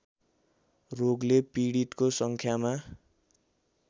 रोगले पीडितको सङ्ख्यामा